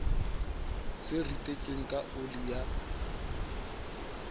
se ritetsweng ka oli ya